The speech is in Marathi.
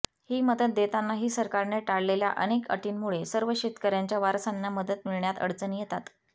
ही मदत देतानाही सरकारने टाकलेल्या अनेक अटींमुळे सर्व शेतकऱ्यांच्या वारसांना मदत मिळण्यात अडचणी येतात